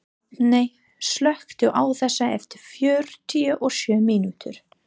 Hrafney, slökktu á þessu eftir fjörutíu og sjö mínútur.